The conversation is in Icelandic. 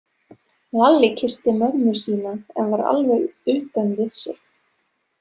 Lalli kyssti mömmu sína en var alveg utan við sig.